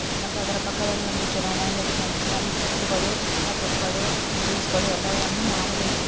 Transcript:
ಅದರ ಪಕ್ಕದಲ್ಲಿ ಒಂದು ಕಿರಾಣಿ ಅಂಗಡಿ ಅಲ್ಲಿ ಚಿಪ್ಸ್ ಗಳು ಪಕ್ಕೀಟುಗಳು ಜ್ಯೂಸುಗಳು ಎಲ್ಲವನ್ನು --